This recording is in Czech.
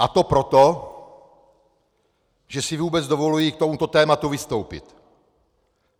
A to proto, že si vůbec dovoluji k tomuto tématu vystoupit.